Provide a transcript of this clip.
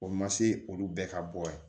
O ma se olu bɛɛ ka bɔ ye